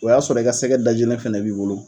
O y'a sɔrɔ ka ka sɛgɛ da jinen fana b'i bolo.